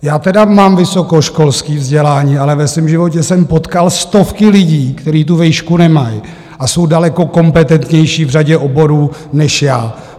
Já tedy mám vysokoškolské vzdělání, ale ve svém životě jsem potkal stovky lidí, kteří tu vejšku nemají a jsou daleko kompetentnější v řadě oborů než já.